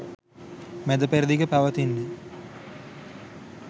මැදපෙරදිග පැවතෙන්නේ.